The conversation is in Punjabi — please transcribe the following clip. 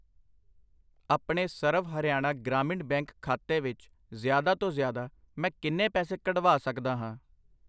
ਆਪਣੇ ਸਰਵ ਹਰਿਆਣਾ ਗ੍ਰਾਮੀਣ ਬੈਂਕ ਖਾਤੇ ਵਿੱਚ ਜ਼ਿਆਦਾ ਤੋਂ ਜ਼ਿਆਦਾ, ਮੈਂ ਕਿੰਨੇ ਪੈਸੇ ਕੱਢਵਾ ਸਕਦਾ ਹਾਂ ?